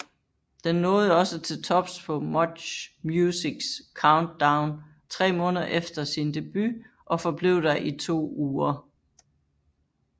Den nåede også til tops på MuchMusics Countdown tre måneder efter sin debut og forblev der i to uger